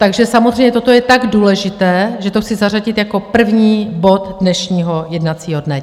Takže samozřejmě toto je tak důležité, že to chci zařadit jako první bod dnešního jednacího dne.